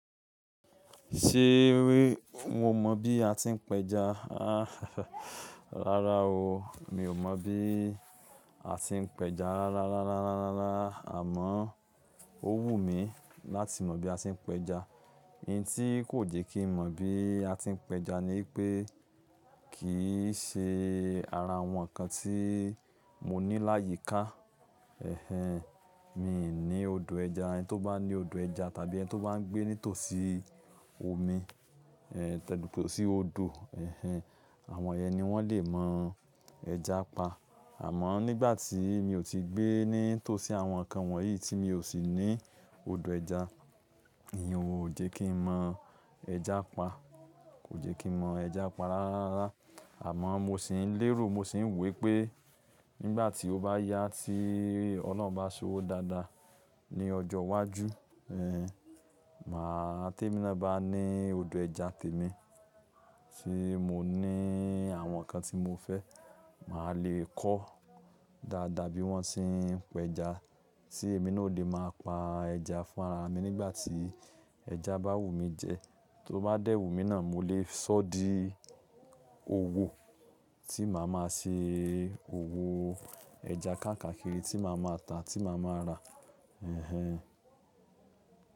Ṣé wé, mo mọ̀ bí a ti ń pẹja? Rárá o, mi ò mọ bí a ti ń pẹja rárá, rárá, rárá, rárá. Àmọ́, ó wù mí láti mọ bí a ṣe ń pẹja. Idin tí kò jẹ́ kí n mọ bí a ti ń pẹja ni ipé kì í ṣe ara àwọn nǹkan tí mo ní láyìí ká. Mi ò ní odò ẹja. Ẹni tó bá ní odò ẹja tàbí ẹni tó bá ń gbé ní tòsí omi, tòsí ọ̀dọ́, àwọn ìyẹn ní wọ́n lè mọ ẹja pa. Àmọ́ nígbà tí mi ò tíì gbé ní tòsí àwọn nǹkan wọ̀nyí tí mi ò sì ní odò ẹja, ní ò jẹ́ kí n mọ ẹja pa. Kò jẹ́ kí n mọ ẹja pa rárá. Àmọ́ mo sì ń lérò, mo sì ń wọ ípé nígbà tí ó bá yá tí Ọlọ́run bá ṣowó dáadáa ní ọjọ́ iwájú, màá,- témi na bá ní odò ẹja tèmi tí mo ní àwọn nǹkan tí mo fẹ́, màá lè kọ́ dáadáa bí wọ́n ṣe ń pẹja tí èmi náà ó lè máa pa ẹja fún ara mi nígbà tí ẹja bá wù mí jẹ. Tó bá dẹ́wù mí náà, mo lè ṣọ́ di owó tí màá máa ṣe owó ẹja káàkiri tí màá máa ta, tí màá máa rà.